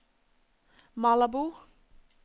Malabo